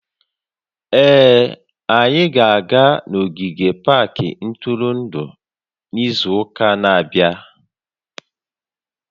Ee, anyị ga-aga n'ogige pak ntụrụndụ n'izu ụka na-abịa